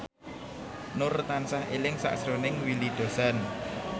Nur tansah eling sakjroning Willy Dozan